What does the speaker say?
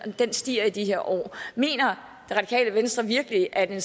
stiger i de her år mener det radikale venstre virkelig at en